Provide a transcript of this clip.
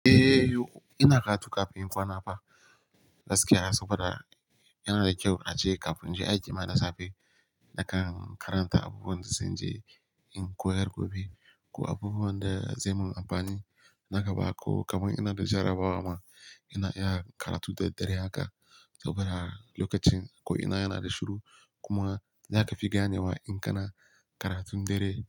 Eh, ina karatu kafin in kwana fa. Gaskiya saboda yana da kyau a je kafin je aji ma na safe. Nakan karanta abubuwan da zan je in koyar gobe ko abubuwan da zai mun amfani na gaba ko kamar ina da jarabawa ma ina iya karatu da dare haka saboda lokacin ko ina yana da shiru kuma yana ka fi gane wa in kana karatu dare.